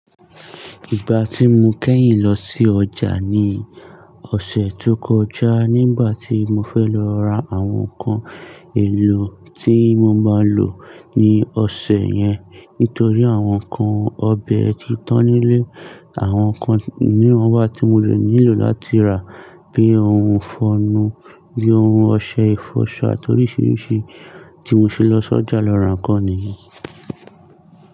Ìgbà tí mo kẹ́yìn lọ sí ọjà ni ọ̀sẹ̀ tó kọjá nígbà tí mo fẹ́ lọ ra àwọn nǹkan èlò tí mo máa lò ní ọ̀sẹ̀ yẹn nítorí àwọn nǹkan ọbẹ̀ ti tán nílé, àwọn nǹkan mìíràn wà tí mo le nílò láti rà bíi ohun ifọ̀nu, bíi ohun ọṣẹ ìfọṣọ àti oríṣiríṣi tí mo ṣe lọ sí ọjà lọ ra nǹkan nìyi.